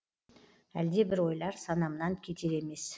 әлдебір ойлар санамнан кетер емес